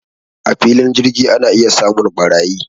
A filin jirgi ana iya samun ɓarayi